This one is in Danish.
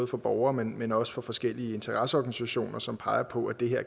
fra borgere men men også fra forskellige interesseorganisationer som peger på at det